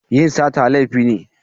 Yin sata laifi ne.